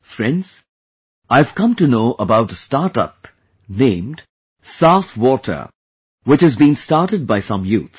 Friends, I have come to know about a startup named saafwater which has been started by some youth